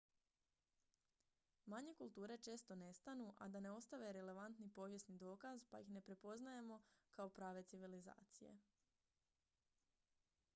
manje kulture često nestanu a da ne ostave relevantni povijesni dokaz pa ih ne prepoznamo kao prave civilizacije